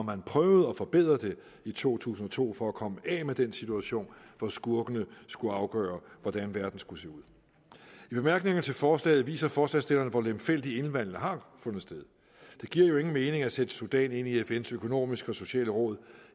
man prøvede at forbedre det i to tusind og to for at komme af med den situation hvor skurkene skulle afgøre hvordan verden skulle se ud i bemærkningerne til forslaget viser forslagsstillerne hvor lemfældigt indvalgene har fundet sted det giver jo ingen mening at sætte sudan ind i fns økonomiske og sociale råd